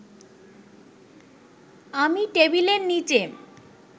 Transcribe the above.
আমি টেবিলের নিচে